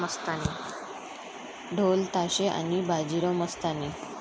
ढोलताशे आणि बाजीराव मस्तानी